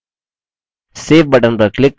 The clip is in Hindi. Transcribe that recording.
save button पर click करें